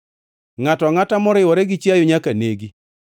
“Ngʼato angʼata moriwore gi chiayo nyaka negi.